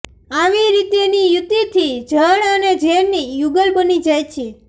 આવી રીતેની યુતિથી જળ અને ઝેરની યુગલ બની જાય છે